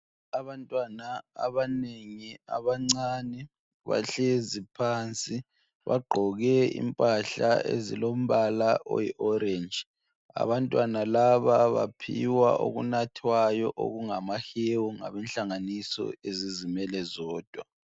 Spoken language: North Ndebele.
Abantwana abanengi abancane bahlezi phansi bagqoke impahla ezilombala oyi orange. Abantwana laba baphiwa okunathwayo okungamahewu ngabenhlanganiso ezizimele zodwa.